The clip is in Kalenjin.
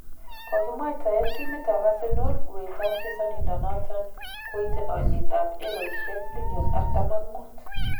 Kogimwataen timit ab Arsenal uet ab chesonidonoton goite olyet ab eroisiek miliom artam ak muut.